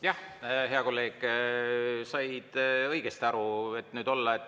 Jah, hea kolleeg, said õigesti aru.